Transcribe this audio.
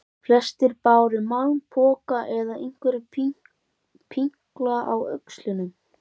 Flestir báru malpoka eða einhverja pinkla á öxlunum.